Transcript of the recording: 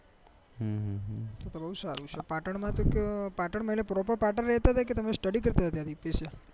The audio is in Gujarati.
પાટણમાં તો કયો પાટણમાં એટલે પ્રોપર પાટણ રહેતા હતા કે તમે study કરતા હતા ત્યાં તો બહુ સારું છે